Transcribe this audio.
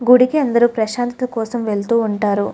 గుడికి అందరు ప్రశాంతం కోసం వెళ్తూ ఉంటారు.